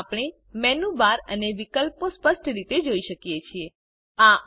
હવે આપણે menu bar અને વિકલ્પો સ્પષ્ટ રીતે જોઈ શકીએ છીએ